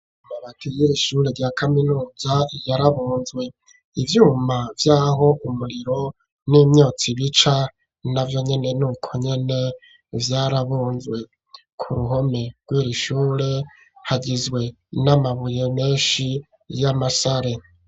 Amabati yiri shure rya kaminuza yarabunzwe ivyuma vyaho umuriro n'imyotsi bica na navyonyene nuko nyene vyarabunzwe ku ruhome rwiri shure hagizwe n'amabuye menshi y'amasare.